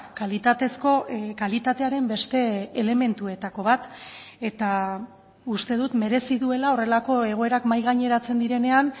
kalitatezko kalitatearen beste elementuetako bat eta uste dut merezi duela horrelako egoerak mahai gaineratzen direnean